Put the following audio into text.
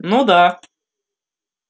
ну да